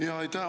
Aitäh!